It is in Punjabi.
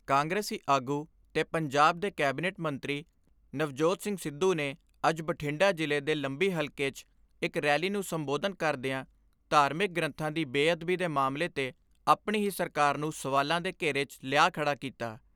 ਕਾਂਗਰਸੀ ਆਗੂ ਤੇ ਪੰਜਾਬ ਦੇ ਕੈਬਨਿਟ ਮੰਤਰੀ ਨਵਜੋਤ ਸਿੰਘ ਸਿੱਧੂ ਨੇ ਅੱਜ ਬਠਿੰਡਾ ਜ਼ਿਲ੍ਹੇ ਦੇ ਲੰਬੀ ਹਲਕੇ 'ਚ ਇਕ ਰੈਲੀ ਨੂੰ ਸੰਬੋਧਨ ਕਰਦਿਆਂ ਧਾਰਮਿਕ ਗ੍ਰੰਥਾਂ ਦੀ ਬੇਅਦਬੀ ਦੇ ਮਾਮਲੇ ਤੇ ਆਪਣੀ ਹੀ ਸਰਕਾਰ ਨੂੰ ਸਵਾਲਾਂ ਦੇ ਘੇਰੇ 'ਚ ਲਿਆ ਖੜਾ ਕੀਤਾ।